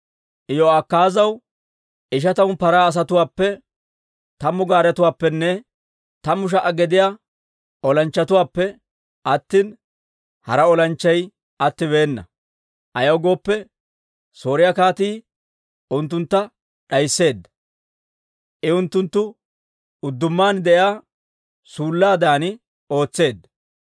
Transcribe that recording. Iyo'akaazaw ishatamu paraa asatuwaappe tammu gaaretuwaappenne, tammu sha"a gediyaa olanchchatuwaappe attina, hara olanchchay attibeena. Ayaw gooppe, Sooriyaa kaatii unttuntta d'aysseedda; I unttuntta uddummaan de'iyaa suullaadan ootseedda.